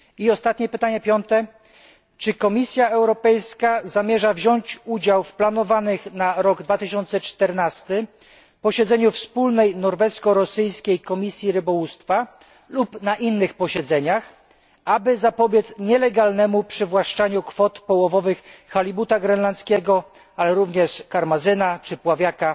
Ostatnie pytanie, piąte czy Komisja Europejska zamierza wziąć udział w planowanym na rok 2014 posiedzeniu wspólnej norwesko rosyjskiej Komisji Rybołówstwa lub w innych posiedzeniach, aby zapobiec nielegalnemu przywłaszczaniu kwot połowowych halibuta grenlandzkiego, ale również karmazyna czy pławiaka